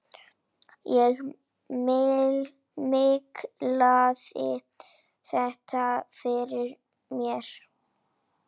Ég miklaði þetta fyrir mér.